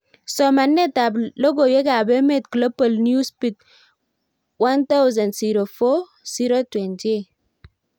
somanet ab logoiwek ab emet Global newsbeat 1000/04/028